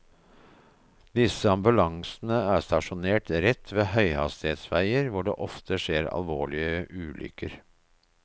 Disse ambulansene er stasjonert rett ved høyhastighetsveier hvor det ofte skjer alvorlige ulykker.